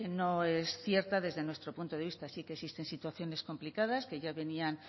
no es cierta desde nuestro punto de vista sí que existen situaciones complicadas que ya venían